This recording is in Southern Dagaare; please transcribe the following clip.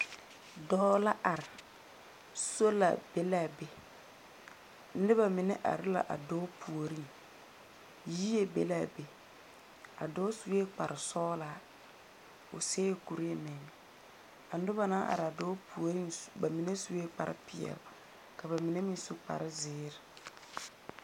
Dͻͻ la are, soola be la a be. Noba mine are la a dͻͻ puoriŋ. Yie be la a be. A dͻͻ sue kpare sͻgelaa, o seԑ kuree meŋ. A noba naŋ are a dͻͻ puori ba mine sue kpare peԑle. Ka ba mine meŋ su kpare zeere